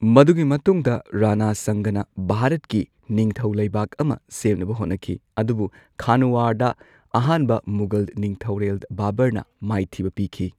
ꯃꯗꯨꯒꯤ ꯃꯇꯨꯡꯗ ꯔꯥꯅꯥ ꯁꯪꯒꯥꯅ ꯚꯥꯔꯠꯀꯤ ꯅꯤꯡꯊꯧꯂꯩꯕꯥꯛ ꯑꯃ ꯁꯦꯝꯅꯕ ꯍꯣꯠꯅꯈꯤ ꯑꯗꯨꯕꯨ ꯈꯥꯅꯨꯋꯥꯗ ꯑꯍꯥꯟꯕ ꯃꯨꯘꯜ ꯅꯤꯡꯊꯧꯔꯦꯜ ꯕꯥꯕꯨꯔꯅ ꯃꯥꯏꯊꯤꯕ ꯄꯤꯈꯤ꯫